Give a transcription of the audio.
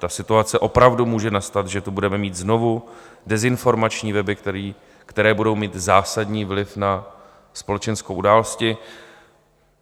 Ta situace opravdu může nastat, že tu budeme mít znovu dezinformační weby, které budou mít zásadní vliv na společenské události.